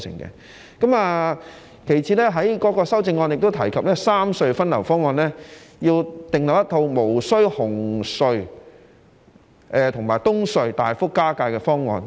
其次，他在修正案中提及三隧分流方案，要訂立一套無需紅隧和東隧大幅加價的方案。